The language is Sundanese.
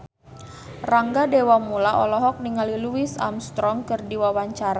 Rangga Dewamoela olohok ningali Louis Armstrong keur diwawancara